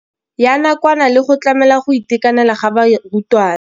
Ya nakwana le go tlamela go itekanela ga barutwana.